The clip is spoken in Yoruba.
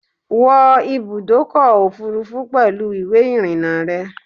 Wọ ibùdókò òfurufú pèlú ìwé ìrìn-na rè